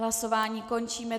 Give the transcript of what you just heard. Hlasování končím.